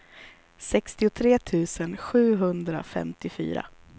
sextiotre tusen sjuhundrafemtiofyra